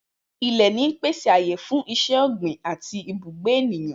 Ilẹ̀ ń pèsè ààyè fún iṣẹ́ ọ̀gbìn àti ibùgbé ènìyàn.